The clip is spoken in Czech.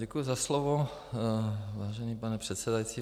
Děkuji za slovo, vážený pane předsedající.